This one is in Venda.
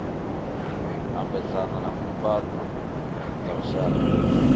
ambedzana na mbumbano dza lushaka